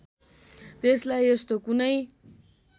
त्यसलाई यस्तो कुनै